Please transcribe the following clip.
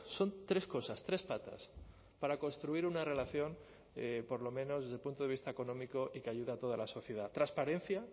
son tres cosas tres patas para construir una relación por lo menos desde el punto de vista económico y que ayuda a toda la sociedad transparencia